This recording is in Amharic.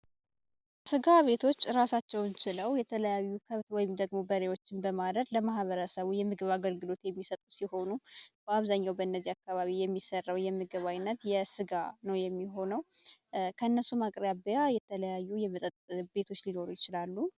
ስጋ ቤቶች ራሳቸውን ችለው የተለያዩ በሬዎችን ለማህበረሰቡ በማረግ ለማበረሰቡ አገልግሎት የሚሰጡት የሆኑ በአብዛኛው በነዚህ አካባቢዎች የሚሰሩ የምግብ ዓይነት የስጋ ነው የሚሆነው እነሱ ማቅረቢያ የተለያዩ የመጠጥ ቤቶች ሊኖሩ ይችላሉ።